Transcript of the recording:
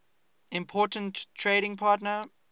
important trading partner